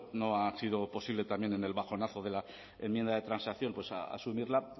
bueno no ha sido posible también en el bajonazo de la enmienda de transacción a asumirla